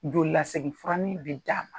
Joli lasegi furanin bɛ d'a ma.